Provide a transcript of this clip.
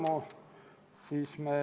Otsus on vastu võetud.